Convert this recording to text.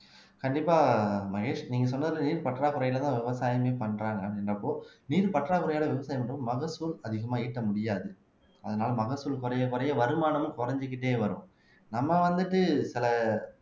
கண்டிப்பா மகேஷ் நீங்க சொன்னது நீர் பற்றாக்குறையிலதான் விவசாயமே பண்றாங்க அப்படின்கறப்போ நீர் பற்றாக்குறையால விவசாயம் என்றும் மகசூல் அதிகமா ஈட்ட முடியாது அதனால மகசூல் குறைய குறைய வருமானமும் குறைஞ்சிக்கிட்டே வரும் நம்ம வந்துட்டு சில